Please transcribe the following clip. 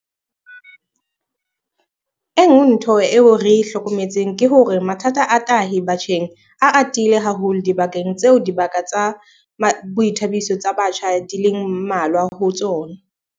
E nngwe ntho eo re e hlokometseng ke hore mathata a tahi batjheng a atile haholo dibakeng tseo dibaka tsa boithabiso tsa batjha di leng mmalwa ho tsona.